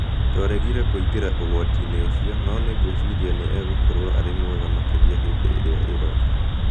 "Twaregire kũingĩra ũgwati-inĩ ũcio, no nĩ ngwĩciria nĩ egũkorũo arĩ mwega makĩria hĩndĩ ĩrĩa ĩroka".